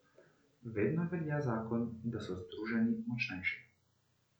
Vedno velja zakon, da so združeni močnejši.